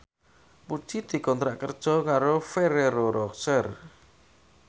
Puji dikontrak kerja karo Ferrero Rocher